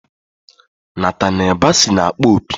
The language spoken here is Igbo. Nataniel Bassey na-akpọ opi.